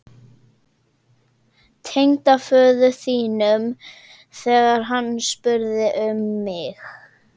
Tengdaföður þínum, þegar hann spurði um mig